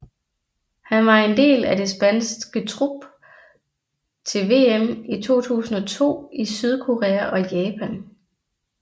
Han var en del af det spanske trup til VM i 2002 i Sydkorea og Japan